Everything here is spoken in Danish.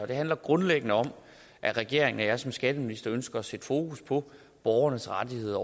det handler grundlæggende om at regeringen og jeg som skatteminister ønsker at sætte fokus på borgernes rettigheder